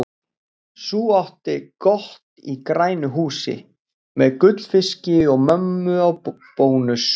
Sú átti gott í grænu húsi, með gullfiski og mömmu á bónus.